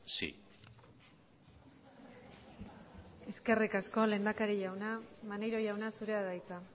sí eskerrik asko lehendakari jauna maneiro jauna zurea da hitza